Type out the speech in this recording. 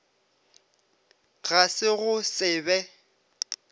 ga se go se be